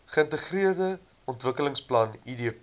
geintegreerde ontwikkelingsplan idp